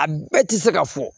A bɛɛ ti se ka fɔ